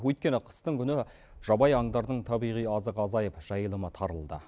өйткені қыстың күні жабайы аңдардың табиғи азығы азайып жайылымы тарылды